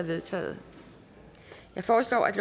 vedtaget jeg foreslår at